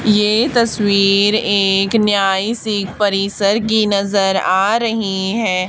ये तस्वीर एक न्यायिसी परिसर की नजर आ रही है।